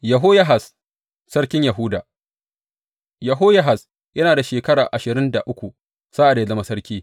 Yehoyahaz sarkin Yahuda Yehoyahaz yana da shekara ashirin da uku sa’ad da ya zama sarki.